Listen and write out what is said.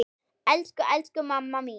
Elsku, elsku mamma mín.